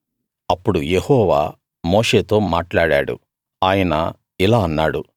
అప్పుడు యెహోవా మోషేతో మాట్లాడాడు ఆయన ఇలా అన్నాడు